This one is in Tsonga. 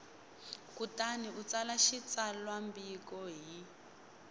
kutani u tsala xitsalwambiko hi